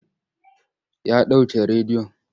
Ya ɗauke rediyon.